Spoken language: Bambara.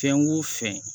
Fɛn o fɛn